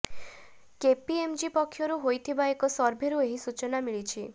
KPMG ପକ୍ଷରୁ ହୋଇଥିବା ଏକ ସର୍ଭେରୁ ଏହି ସୂଚନା ମିଳିଛି